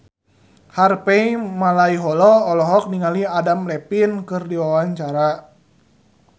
Harvey Malaiholo olohok ningali Adam Levine keur diwawancara